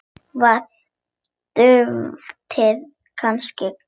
Var duftið kannski gallað?